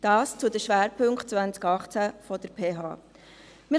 Dies zu den Schwerpunkten 2018 der PH Bern.